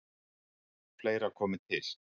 Fleira komi til.